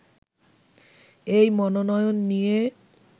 এই মনোয়ন নিয়ে